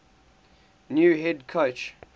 new head coach